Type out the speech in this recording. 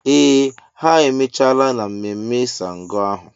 Ee ha emechala na mmemme ṣàngó ahụ.